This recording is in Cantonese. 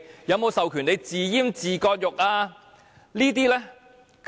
有否授權政府自閹自割？